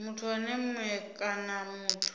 muthu ene mue kana muthu